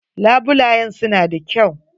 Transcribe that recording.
Labulayen su na da kyau.